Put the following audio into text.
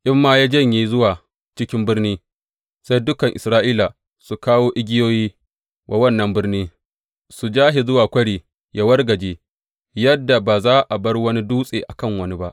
In ma ya janye zuwa cikin birni, sai dukan Isra’ila su kawo igiyoyi wa wannan birni, su ja shi zuwa kwari yă wargaje, yadda ba za a bar wani dutse a kan wani ba.